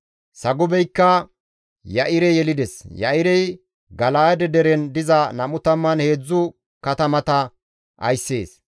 Sagubeykka Ya7ire yelides; Ya7irey Gala7aade deren diza 23 katamata ayssees.